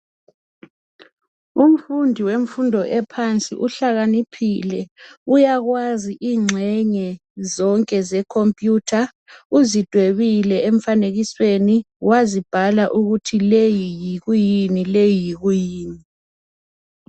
Umfundi wemfundo ephansi uhlakaniphile uyakwaz ingxenye zonke ze khompiyutha, uzidwebile emfanekisweni wazibhala ukuthi leyi yikwiyini leyi yikwiyini.